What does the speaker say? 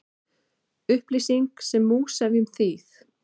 Upplýsing sem múgsefjun, þýð.